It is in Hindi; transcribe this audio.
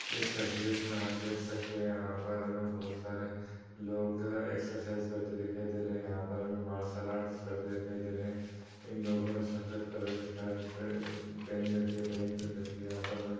इस तस्वीर में हम देख सकते हैं यहाँ पर हमें बहुत सारे लोग एक्सरसाइज करते हुए दिखाई दे रहे हैं| यहाँ पर हमें मार्शल आर्ट्स करते दिखाई दे रहे हैं| इन लोगों ने सफ़ेद कलर की शर्ट पे-पेहनी रखी हैं पेंट पहेन रखीं हैं यहाँ पर हमें --